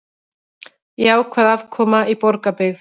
Jákvæð afkoma í Borgarbyggð